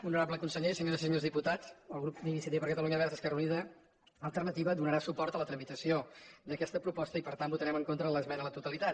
honorable conseller senyores i senyors diputats el grup d’iniciativa per catalunya verds esquerra unida i alternativa donarà suport a la tramitació d’aquesta proposta i per tant votarem en contra de l’esmena a la totalitat